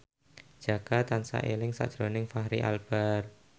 Jaka tansah eling sakjroning Fachri Albar